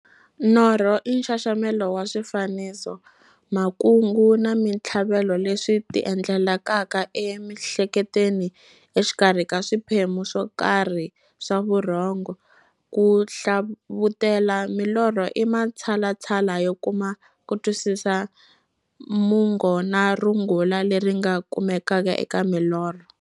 Norho i nxaxamelo wa swifaniso, makungu na minthlavelo leswi ti endlekelaka emiehleketweni exikarhi ka swiphemu swokarhi swa vurhongo. Ku hlavutela milorho i matshalatshala yo kuma kutwisisa mungo na rungula leri nga kumekaka eka milorho.